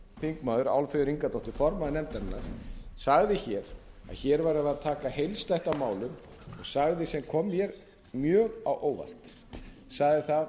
háttvirtir þingmenn álfheiður ingadóttir formaður nefndarinnar sagði hér að hér værum við að taka heildstætt á málum sagði sem kom mér mjög á óvart sagði það